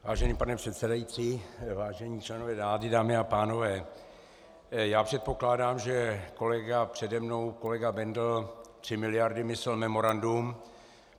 Vážený pane předsedající, vážení členové vlády, dámy a pánové, já předpokládám, že kolega přede mnou, kolega Bendl, tři miliardy myslel memorandum.